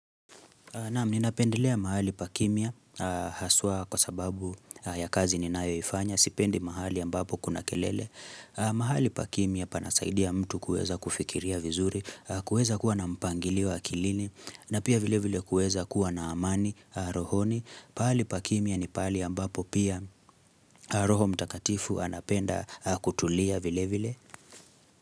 Naam, ninapendelea mahali pakimya, haswa kwa sababu ya kazi ninayoifanya, sipendi mahali ambapo kuna kelele. Mahali pa kimya panasaidia mtu kueza kufikiria vizuri, kuweza kuwa na mpangilio wa kilini, na pia vile vile kueza kuwa na amani, rohoni. Pali pakimia ni pali ambapo pia roho mtakatifu anapenda kutulia vile vile.